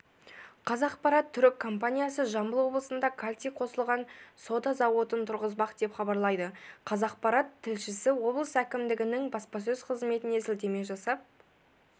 қазақпарат түрік компаниясы жамбыл облысында кальций қосылған сода зауытын тұрғызбақ деп хабарлайды қазақпарат тілшісі облыс әкімдігінің баспасөз қызметіне сілтеме жасап